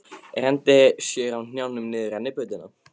Renndi sér á hnjánum niður rennibrautina.